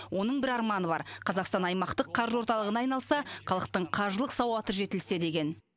оның бір арманы бар қазақстан аймақтық қаржы орталығына айналса халықтың қаржылық сауаты жетілсе деген